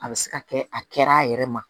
A bɛ se ka kɛ a kɛra a yɛrɛ ma